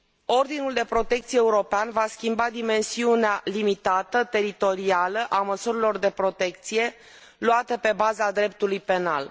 Ordinul de protecție european va schimba dimensiunea limitată, teritorială a măsurilor de protecție, luate pe baza dreptului penal.